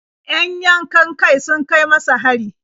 Yan yankan-kai sun kai masa hari.